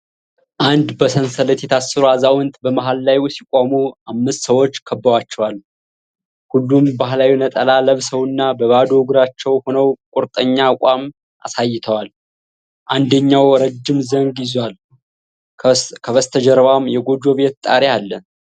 አንድ በሰንሰለት የታሰሩ አዛውንት በመሃል ላይ ሲቆሙ፤ አምስት ሰዎች ከበዋቸዋል፡፡ ሁሉም ባህላዊ ነጠላ ለብሰውና በባዶ እግራቸው ሆነው ቁርጠኛ አቋም አሳይተዋል፡፡ አንደኛው ረጅም ዘንግ ይዟል፤ ከበስተጀርባም የጎጆ ቤት ጣሪያ አለ፡፡